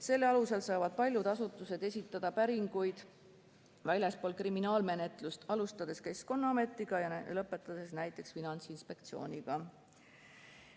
Selle alusel saavad paljud asutused esitada päringuid väljaspool kriminaalmenetlust, alustades Keskkonnaametiga ja lõpetades näiteks Finantsinspektsiooniga.